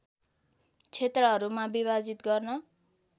क्षेत्रहरूमा विभाजित गर्न